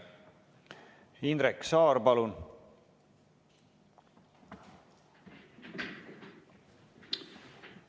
Indrek Saar, palun!